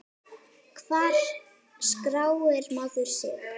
Hvar skráir maður sig?